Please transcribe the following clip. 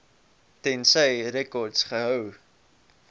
tensy rekords gehou